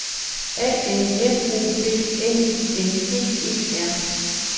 A N M O D N I N G E R